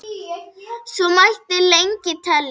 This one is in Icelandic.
Svo mætti lengi telja.